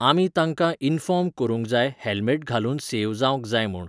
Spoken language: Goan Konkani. आमी तांकां इन्फॉर्म करूंक जाय हॅल्मॅट घालून सेव जावंक जाय म्हूण.